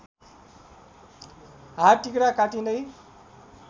हात तिघ्रा कटिँदै